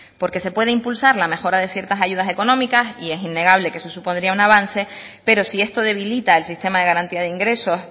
porque se puede impulsar la mejora de ciertas ayudas económicas y es innegable que eso supondría un avance pero si esto debilita el sistema de garantía de ingresos